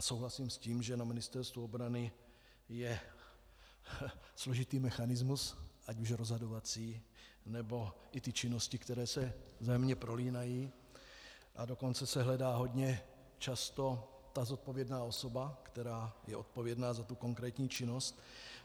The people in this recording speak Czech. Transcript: A souhlasím s tím, že na Ministerstvu obrany je složitý mechanismus ať už rozhodovací, nebo i ty činnosti, které se vzájemně prolínají, a dokonce se hledá hodně často ta zodpovědná osoba, která je odpovědná za tu konkrétní činnost.